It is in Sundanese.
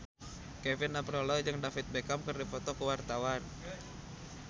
Kevin Aprilio jeung David Beckham keur dipoto ku wartawan